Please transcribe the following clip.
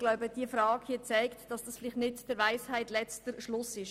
Diese Frage hier zeigt, dass dies vielleicht nicht der Weisheit letzter Schluss war.